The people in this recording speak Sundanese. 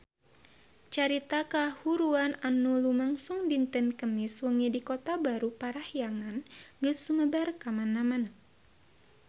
Carita kahuruan anu lumangsung dinten Kemis wengi di Kota Baru Parahyangan geus sumebar kamana-mana